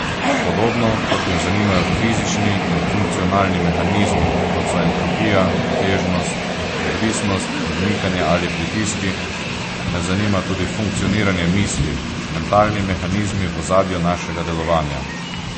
Podobno kot me zanimajo fizični in funkcionalni mehanizmi, kot so entropija, težnost, odvisnost, odmikanje ali pritiski, me zanima tudi funkcioniranje misli, mentalni mehanizmi v ozadju našega delovanja.